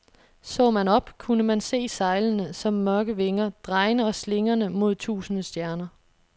Så man op, kunne man se sejlene som mørke vinger, drejende og slingrende mod tusinde stjerner.